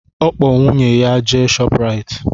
Ọ kpọ nwunye ya jee Shọprayiti